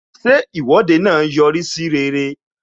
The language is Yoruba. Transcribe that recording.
Ṣé Ìwọ́de náà yọ rí sí ire?